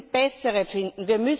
Wir müssen bessere finden.